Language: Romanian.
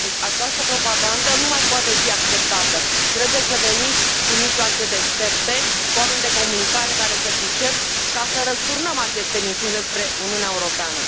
Deci această propagandă nu mai poate fi acceptată, trebuie să venim cu mijloace deștepte, cu oameni de comunicare care se pricep, ca să răsturnăm aceste minciuni despre Uniunea Europeană.